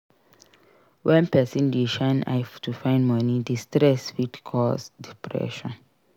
When person dey shine eye to find money di stress fit cause depression